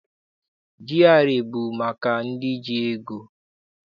GRA bụ maka ndị ji ego.